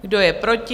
Kdo je proti?